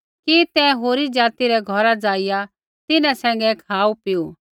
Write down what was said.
कि तैं होरी जाति रै घौरा ज़ाइआ तिन्हां सैंघै खाऊपीऊ